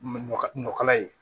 Ɲɔkala ye